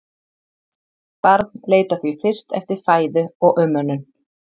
Barn leitar því fyrst eftir fæðu og umönnun.